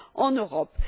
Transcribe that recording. en Europe.